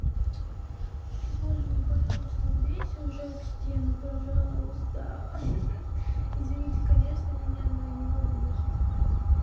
боже мой пожалуйста убейся уже об стену пожалуйста извините конечно меня но я не могу больше терпеть